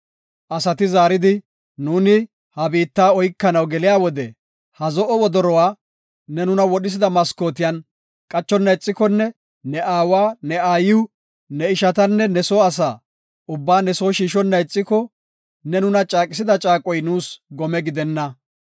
Asati zaaridi, “Nuuni ha biitta oykanaw geliya wode, ha zo7o wodoruwa ne nuna wodhisida maskootiyan qachonna ixikonne ne aawa, ne aayiw, ne ishatanne ne soo asa ubbaa ne soo shiishonna ixiko, ne nuna caaqisida caaqoy nuus gome gidenna.